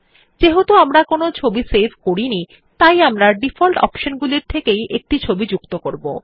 যেহেতু আমরা কোনো ছবি সেভ করিনি তাই আমরা ডিফল্ট অপশন গুলির থেকেই একটি ছবি যুক্ত করবো